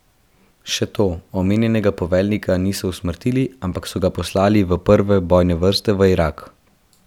Še to, omenjenega poveljnika niso usmrtili, ampak so ga poslali v prve bojne vrste v Irak.